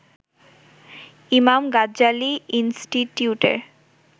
Imam Ghazali ইন্সটিটিউটের